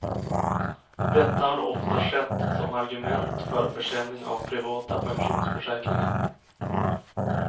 Detta har ofta skett som argument för försäljning av privata pensionsförsäkringar.